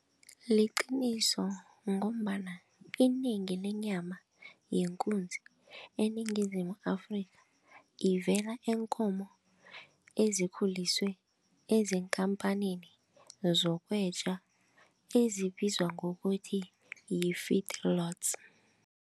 Liqiniso ngombana inengi lenyama yekunzi eNingizimu Afrika ivela eenkomo ezikhuliswe, ezikampanini zokwetjwa ezibizwa ngokuthi